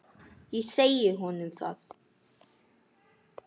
Ég segi honum það.